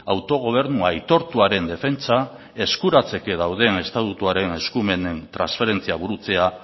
autogobernu aitortuaren defentsa eskuratzeke dauden estatuturen eskumenen transferentziak burutzea